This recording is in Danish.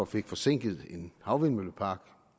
fik forsinket en havvindmøllepark